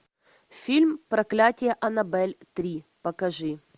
фильм проклятие аннабель три покажи